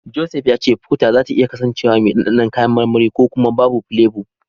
Joseph ya ce Fota zata iya kasancewa mai dandanon kayan marmari ko kuma babu filebo.